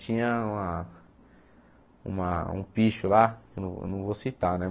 Tinha uma uma um picho lá, que eu eu não vou citar, né?